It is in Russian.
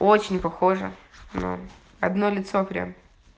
очень похожа ну одно лицо прям